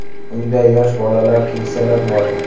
Uyda yosh bolalar, keksalar bor.